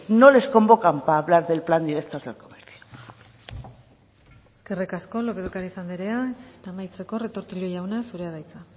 no les convocan para hablar del plan director del comercio eskerrik asko lópez de ocariz anderea amaitzeko retortillo jauna zurea da hitza